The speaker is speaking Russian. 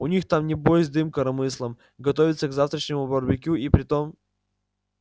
у них там небось дым коромыслом готовятся к завтрашнему барбекю и притом